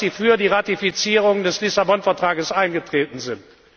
Ich weiß, dass Sie für die Ratifizierung des Lissabon Vetrags eingetreten sind.